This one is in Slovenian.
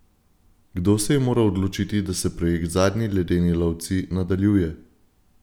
Kdo se je moral odločiti, da se projekt Zadnji ledeni lovci nadaljuje?